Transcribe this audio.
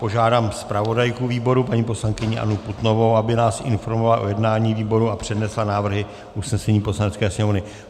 Požádám zpravodajku výboru paní poslankyni Annu Putnovou, aby nás informovala o jednání výboru a přednesla návrhy usnesení Poslanecké sněmovny.